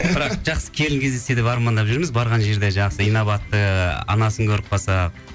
бірақ жақсы келін кездессе деп армандап жүрміз барған жерде жақсы инабатты анасын көріп қалсақ